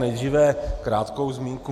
Nejdříve krátkou zmínku.